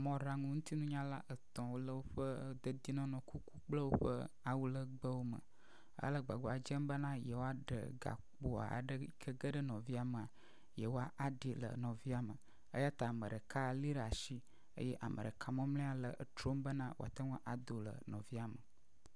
mɔɖaŋu ŋutinyala etɔ̃ wo le woƒe dedienɔnɔ kukuwo kple woƒe awulegbewo me hele agbagba dzem bena yewoaɖe gakpo aɖe yike geɖe nɔviawo mea yewoaɖi le nɔvia me eya ta ame ɖeka li ɖe asi eye ame ɖeka mɔmlɔe le etrom bena woate ŋu ado le nɔvia me.